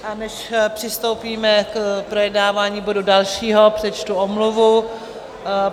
A než přistoupíme k projednávání bodu dalšího, přečtu omluvu.